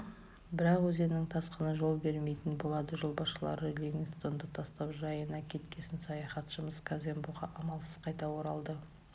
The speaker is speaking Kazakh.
бірақ өзеннің тасқыны жол бермейтін болады жолбасшылары ливингстонды тастап жайына кеткесін саяхатшымыз казембоға амалсыз қайта оралды